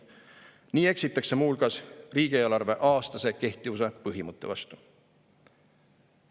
Nii eksitakse muu hulgas riigieelarve aastase kehtivuse põhimõtte vastu.